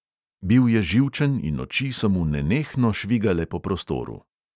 Bil je živčen in oči so mu nenehno švigale po prostoru.